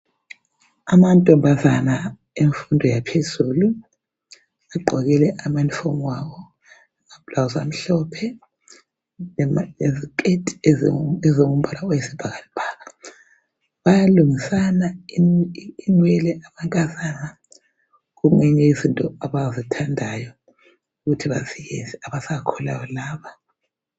Amantombazana emfundo yaphezulu, agqoke amaunifomu unifomu abo, amabhulawuzi amhlophe leziketi ezilombala oyisibhakabhaka. Bayalungisana inwele amankazana, okunye yemfundo abakuthandayo yikuthi bafundise abasakhulayo laba.